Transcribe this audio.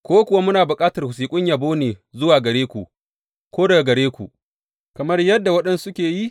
Ko kuwa muna bukatar wasiƙun yabo ne zuwa gare ku, ko daga gare ku, kamar yadda waɗansu suke yi?